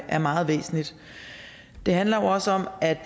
er meget væsentligt det handler jo også om at